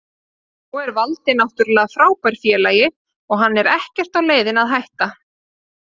Svo er Valdi náttúrulega frábær félagi og hann er ekkert á leiðinni að hætta.